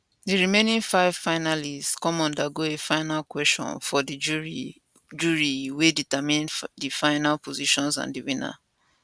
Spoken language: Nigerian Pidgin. di remaining five finalists come undergo a final kwesion from di jury jury wey determine di final positions and di winner